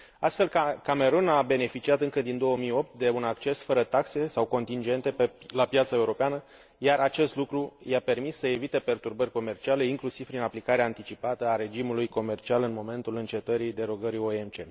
Astfel, Camerun a beneficiat, încă din 2008, de un acces fără taxe sau contingente la piața europeană, iar acest lucru i a permis să evite perturbări comerciale, inclusiv prin aplicarea anticipată a regimului comercial, în momentul încetării derogării OMC.